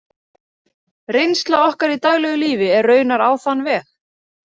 Reynsla okkar í daglegu lífi er raunar á þann veg.